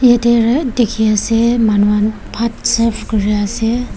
yate reh dikhi ase manuhan bhat serve kure ase.